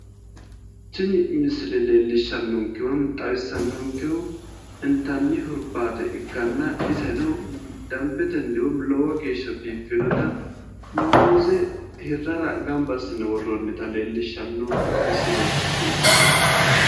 Tini misile leellishshannonke woyi xawissannonkehu intanni hurbaate ikkanna iseno dambetenni woyi lowo geeshsha biiffinota muuze hirrara gamba assine worroonnita leellishshanno misilenkeeti yaate.